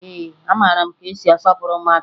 Ee, amara m ka esi asọpụrụ mmadụ